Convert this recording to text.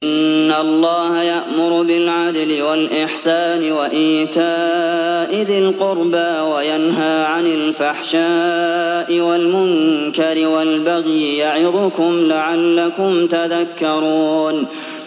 ۞ إِنَّ اللَّهَ يَأْمُرُ بِالْعَدْلِ وَالْإِحْسَانِ وَإِيتَاءِ ذِي الْقُرْبَىٰ وَيَنْهَىٰ عَنِ الْفَحْشَاءِ وَالْمُنكَرِ وَالْبَغْيِ ۚ يَعِظُكُمْ لَعَلَّكُمْ تَذَكَّرُونَ